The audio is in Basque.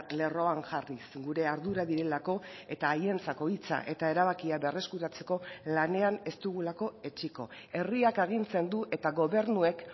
lerroan jarriz gure ardura direlako eta haientzako hitza eta erabakia berreskuratzeko lanean ez dugulako etsiko herriak agintzen du eta gobernuek